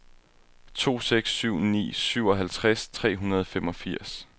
to seks syv ni syvoghalvtreds tre hundrede og femogfirs